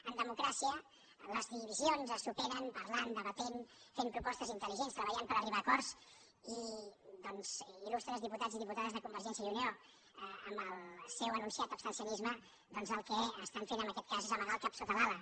en democràcia les divisions es superen parlant debatent fent propostes intel·ligents treballant per arribar a acordsi doncs il·lustres diputats i diputades de convergència i unió amb el seu anunciat abstencionisme el que estan fent en aquest cas és amagar el cap sota l’ala